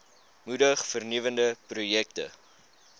moedig vernuwende projekte